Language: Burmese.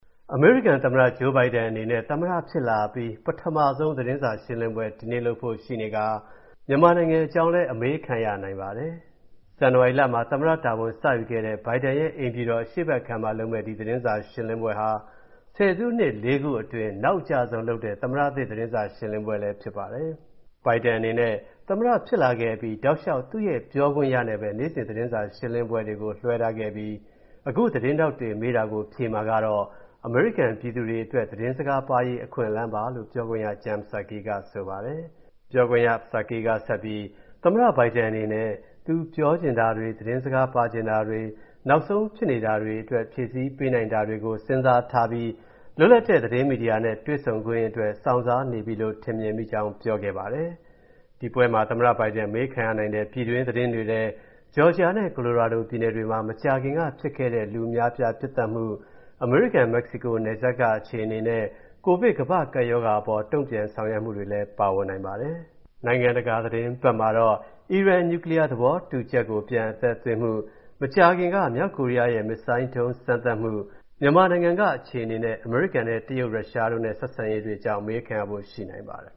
အမေရိကန်သမ္မတ Joe Biden အနေနဲ့ သမ္မတဖြစ်လာအပြီး ပထမဆုံး သတင်းစာရှင်းလင်းပွဲ ဒီနေ့ လုပ်ဖို့ ရှိနေပြီး မြန်မာနိုင်ငံအကြောင်းလည်း မေးခံရနိုင်ပါတယ်။ ဇန်နဝါရီမှာ သမ္မတ တာဝန်စယူခဲ့တဲ့ Biden ရဲ့ အိမ်ဖြူတော် အရှေ့ဘက်ခန်းမမှာ လုပ်မယ့် ဒီ သတင်းစာရှင်းလင်းပွဲဟာ ဆယ်စုနှစ် ၄ ခုအတွင်း နောက်အကျဆုံးလုပ်တဲ့ သမ္မတသစ် သတင်းစာရှင်းလင်းပွဲလည်းဖြစ်ပါတယ်။ Biden အနေနဲ့ သမ္မတဖြစ်လာခဲ့အပြီး တောက်လျှောက် သူ့ရဲ့ ပြောခွင့်ရနဲ့ပဲ နေ့စဉ်သတင်းစာရှင်းလင်းပွဲတွေကို လွှဲထားခဲ့ပြီး အခု သတင်းထောက်တွေမေးတာကို ဖြေမှာကတော့ အမေရိကန်ပြည်သူတွေအတွက် သတင်းစကားပါးရေး အခွင့်အလမ်းပါလို့ ပြောခွင့်ရ Jen Psaki က ဆိုပါတယ်။ ပြောခွင့်ရ Psaki က ဆက်ပြီး သမ္မတ Biden အနေနဲ့ သူပြောချင်တာတွေ၊ သတင်းစကားပါးချင်တာတွေ၊ နောက်ဆုံးဖြစ်နေတာတွေအတွက် ဖြည့်ဆည်းပေးနိုင်တာတွေကို စဉ်းစားထားပြီး လွတ်လပ်တဲ့သတင်းမီဒီယာနဲ့ တွေ့ဆုံခွင့်အတွက် စောင့်စားနေပြီလို့ ထင်မြင်မိကြောင်း ပြောခဲ့ပါတယ်။ ဒီပွဲမှာ သမ္မတ Biden အမေးခံရနိုင်တဲ့ ပြည်တွင်းသတင်းတွေထဲ Georgia နဲ့ Colorado ပြည်နယ်တွေမှာ မကြာခင်ဖြစ်ခဲ့တဲ့ လူအများအပြားပစ်သတ်မှု၊ အမေရိကန်-မက္ကဆီကိုနယ်စပ်အခြေအနေနဲ့ ကိုဗစ်ကမ္ဘာ့ကပ်ရောဂါအပေါ် တုံ့ပြန်ဆောင်ရွက်မှုတွေလည်း ပါဝင်နိုင်ပါတယ်။ နိုင်ငံတကာသတင်းဘက်မှာတော့ အီရန်နျူကလီယား သဘောတူချက်ကို ပြန်အသက်သွင်းမှု၊ မကြာခင်က မြောက်ကိုရီးယားရဲ့ မစ်ဆိုင်းဒုံးစမ်းသပ်မှု၊ မြန်မာနိုင်ငံကအခြေအနေနဲ့ အမေရိကန်နဲ့ တရုတ်-ရုရှားတို့နဲ့ ဆက်ဆံရေးတွေအကြောင်း အမေးခံရဖို့ ရှိနိုင်ပါတယ်